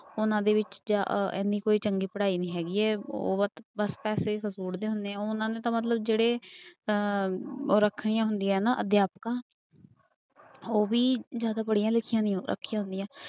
ਉਹਨਾਂ ਦੇ ਵਿੱਚ ਇੰਨੀ ਕੋਈ ਚੰਗੀ ਪੜ੍ਹਾਈ ਨੀ ਹੈਗੀ ਹੈ ਉਹ ਬਸ ਪੈਸੇ ਹੀ ਹੁੰਦੇ ਆ, ਉਹਨਾਂ ਨੂੰ ਤਾਂ ਮਤਲਬ ਜਿਹੜੇ ਅਹ ਉਹ ਰੱਖੀਆਂ ਹੁੰਦੀਆਂ ਨਾ ਅਧਿਆਪਕਾਂ ਉਹ ਵੀ ਜ਼ਿਆਦਾ ਪੜ੍ਹੀਆਂ ਲਿਖੀਆਂ ਨੀ ਰੱਖੀਆਂ ਹੁੰਦੀਆਂ।